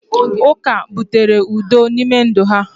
uka butere udo n’ime ndụ ha